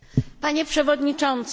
Panie przewodniczący!